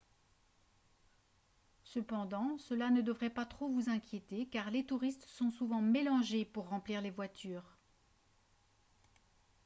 cependant cela ne devrait pas trop vous inquiéter car les touristes sont souvent mélangés pour remplir les voitures